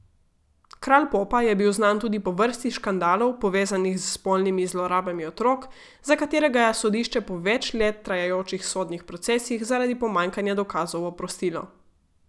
Kralj popa je bil znan tudi po vrsti škandalov, povezanih s spolnimi zlorabami otrok, za katere ga je sodišče po več let trajajočih sodnih procesih zaradi pomanjkanja dokazov oprostilo.